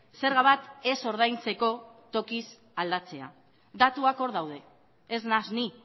zerga bat ez ordaintzeko tokiz aldatzea datuak hor daude ez naiz ni